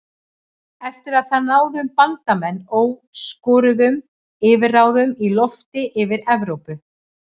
Eftir það náðu Bandamenn óskoruðum yfirráðum í lofti yfir Evrópu.